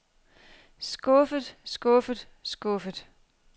skuffet skuffet skuffet